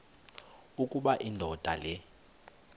ukuba indoda le